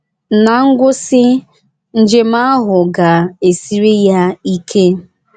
Na ngwụsị, njem ahụ ga - esiri ya ike.